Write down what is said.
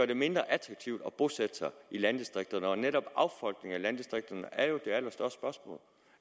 det mindre attraktivt at bosætte sig i landdistrikterne og netop affolkningen af landdistrikterne er jo